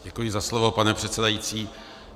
Děkuji za slovo, pane předsedající.